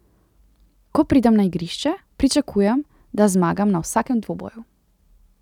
Ko pridem na igrišče, pričakujem, da zmagam na vsakem dvoboju.